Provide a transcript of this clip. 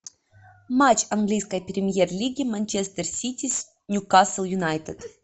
матч английской премьер лиги манчестер сити с ньюкасл юнайтед